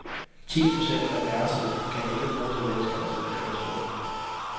Ti procent af værelserne kan ikke bruges af mennesker, der sidder i kørestol.